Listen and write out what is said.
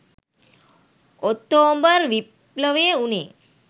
October විප්ලවය වුනේ